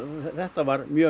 þetta var mjög